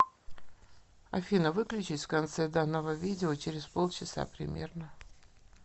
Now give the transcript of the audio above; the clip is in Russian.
афина выключись в конце данного видео через полчаса примерно